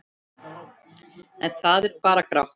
En það er bara grátt.